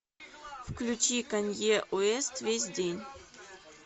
включи канье уэст весь день